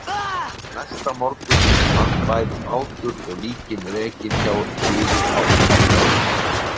En næsta morgun fannst bæði bátur og líkin rekin hjá Hliði á Álftanesi.